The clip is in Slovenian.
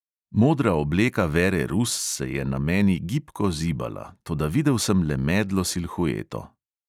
Modra obleka vere rus se je na meni gibko zibala, toda videl sem le medlo silhueto.